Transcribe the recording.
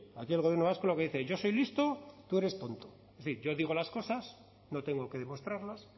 aquí el gobierno vasco lo que dice yo soy listo tú eres tonto es decir yo digo las cosas no tengo que demostrarlas